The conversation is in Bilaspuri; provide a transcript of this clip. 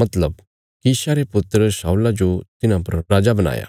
मतलब कीशा रे पुत्र शाऊल जो तिन्हां परा राजा बणाया